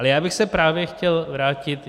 Ale já bych se právě chtěl vrátit...